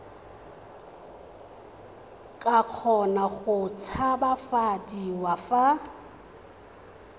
ka kgona go tshabafadiwa fa